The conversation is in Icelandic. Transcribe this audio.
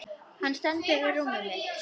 Hann stendur við rúmið mitt.